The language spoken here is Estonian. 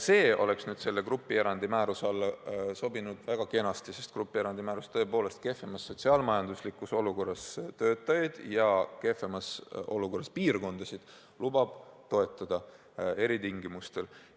See oleks selle grupierandi määruse alla sobinud väga kenasti, sest grupierandi määrus tõepoolest lubab kehvemas sotsiaal-majanduslikus olukorras töötajaid ja kehvemas olukorras piirkondasid eritingimustel toetada.